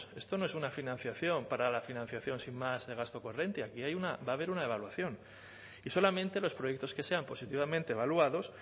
esto no es una financiación para la financiación sin más de gasto corriente aquí hay una va a haber una evaluación y solamente los proyectos que sean positivamente evaluados